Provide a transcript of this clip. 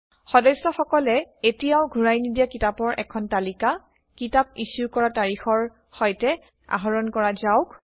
সদস্যসকলে এতিয়াও ঘূৰাই নিদিয়া কিতাপৰ এখন তালিকা কিতাপ ইছ্যু কৰা তাৰিখৰে সৈতে আহৰণ কৰা যাওক